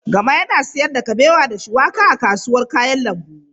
Gama yana sayar da kabewa da shuwaƙa a kasuwar kayan lambu.